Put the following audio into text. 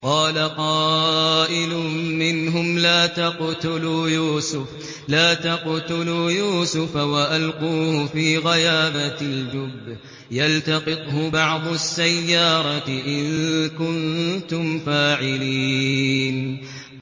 قَالَ قَائِلٌ مِّنْهُمْ لَا تَقْتُلُوا يُوسُفَ وَأَلْقُوهُ فِي غَيَابَتِ الْجُبِّ يَلْتَقِطْهُ بَعْضُ السَّيَّارَةِ إِن كُنتُمْ فَاعِلِينَ